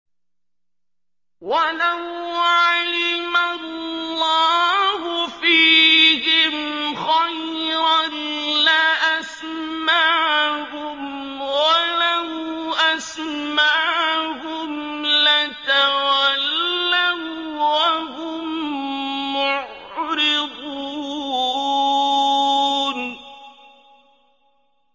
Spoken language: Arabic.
وَلَوْ عَلِمَ اللَّهُ فِيهِمْ خَيْرًا لَّأَسْمَعَهُمْ ۖ وَلَوْ أَسْمَعَهُمْ لَتَوَلَّوا وَّهُم مُّعْرِضُونَ